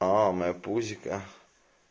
о моё пузико